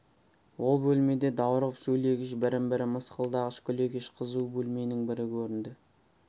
ол бөлме де даурығып сөйлегіш бірін-бірі мысқылдағыш күлегеш қызу бөлменің бірі көрінді